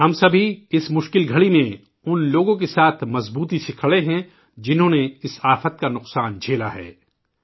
آیئے ، ہم اُن سب کے ساتھ مضبوطی سے کھڑے ہوں ، جنہیں ، اِن آفات سےنقصان کا سامنا کرنا پڑا